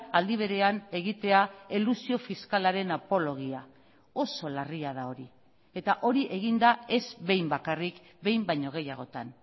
aldi berean egitea elusio fiskalaren apologia oso larria da hori eta hori egin da ez behin bakarrik behin baino gehiagotan